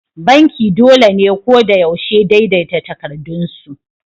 Banki dole ne ko da yaushe daidaita takardunsu.